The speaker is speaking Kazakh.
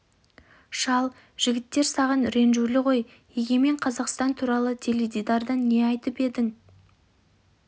шал жігіттер саған ренжулі ғой егемен қазақстан туралы теледидардан не айтып едің